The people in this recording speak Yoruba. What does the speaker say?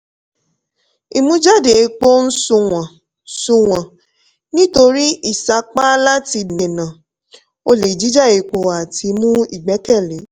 ìmújáde epo ń sunwọ̀n sunwọ̀n nítorí ìsapá láti dènà olè jíjà epo àti mú ìgbẹ́kẹ̀lé.